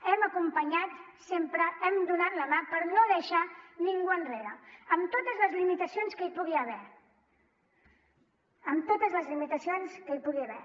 hem acompanyat sempre hem donat la mà per no deixar ningú enrere amb totes les limitacions que hi pugui haver amb totes les limitacions que hi pugui haver